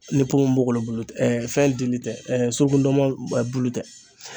Ni ponponpogolon bulu tɛ ɛɛ fɛn dili tɛ ɛɛ suruku ndɔnmɔn bulu tɛ